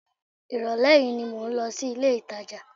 Ìrọ̀lẹ́ yìí ni mò ń lọ sí ilé-ìtàjà